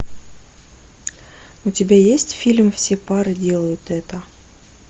у тебя есть фильм все пары делают это